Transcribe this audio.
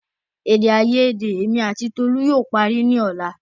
Èdè àyedè èmi àti tolu yóò parí ní ọ̀la